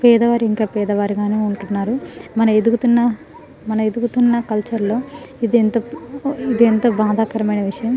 పేద వారు ఇంకా పేద వారిగా నే వుంటున్నారు మనము ఎదుగుతున్న మనము ఎదుగుతున్న కలోచేర్ లో ఇది ఎంతో బాధాకరమైన విషయము --